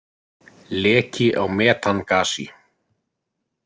Leki á metangasi.